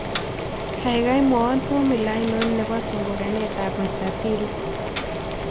Kaigai mwawon pomula ainon ne po sungukanetap mstatili